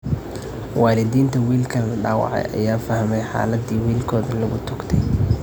Waalidiinta wiilka la dhaawacay ayaa fahmey xaaladdii wiilkooda lagu toogtay.